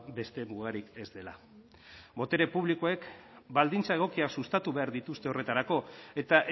beste mugarik ez dela botere publikoek baldintza egokiak sustatu behar dituzte horretarako eta